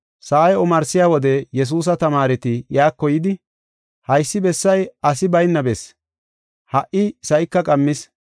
Sa7ay omarsiya wode Yesuusa tamaareti iyako yidi, “Haysi bessay asi bayna bessi; ha77i sa7ika qammis.